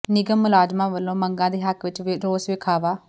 ਨਿਗਮ ਮੁਲਾਜ਼ਮਾਂ ਵੱਲੋਂ ਮੰਗਾਂ ਦੇ ਹੱਕ ਵਿੱਚ ਰੋਸ ਵਿਖਾਵਾ